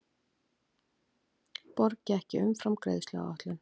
Borgi ekki umfram greiðsluáætlun